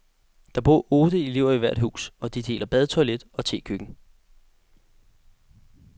Der bor otte elever i hvert hus, og de deler bad, toilet og tekøkken.